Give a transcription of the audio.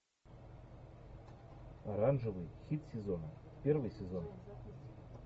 оранжевый хит сезона первый сезон